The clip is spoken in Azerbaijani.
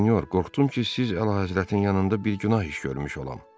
Monsinyor, qorxdum ki, siz əlahəzrətin yanında bir günah iş görmüş olam.